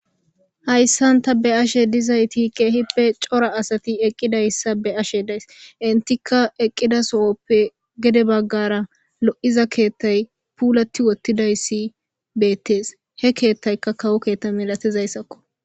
Hayssan ta be'ashe dizayti keehippe cora asati eqqidayssa be ashe days intika eqqida sohoppe gede baggara lo'iza keettay puulati wottidayssi beettees he keettaykka kawo keetta milatizayssakko.